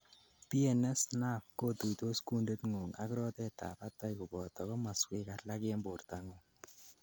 PNS nerve kotuitos kunditngung ak rotet ab batai koboto komoswek alak en bortangung